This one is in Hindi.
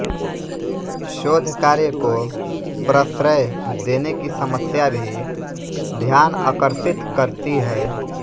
शोध कार्य को प्रश्रय देने की समस्या भी ध्यान अकर्षित करती है